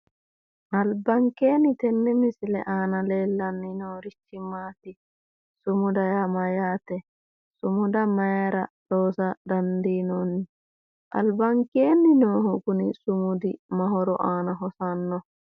Albankeenni tenne misile aana leellani noorichi maati? sumuda yaa mayyate? sumuda mayiira loosa dandinoonni? albankeenni noohu kuni sumudi ma horo aana hosannoho?